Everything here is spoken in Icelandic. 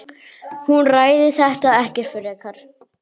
Hún ræðir þetta ekkert frekar.